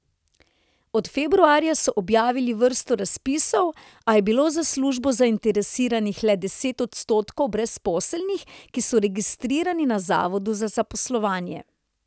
Od februarja so objavili vrsto razpisov, a je bilo za službo zainteresiranih le deset odstotkov brezposelnih, ki so registrirani na zavodu za zaposlovanje.